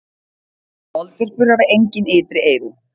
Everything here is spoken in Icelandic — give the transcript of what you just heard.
Moldvörpur hafa engin ytri eyru.